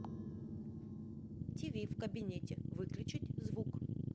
тв в кабинете выключить звук